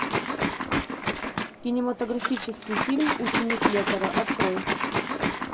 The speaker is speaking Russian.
кинематографический фильм ученик лекаря открой